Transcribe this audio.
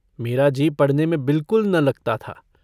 मेरा जी पढ़ने में बिल्कुल न लगता था।